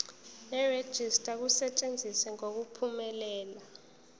nerejista kusetshenziswe ngokuphumelela